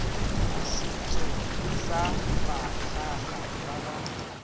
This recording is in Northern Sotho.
setšong sa bakgaga ba ga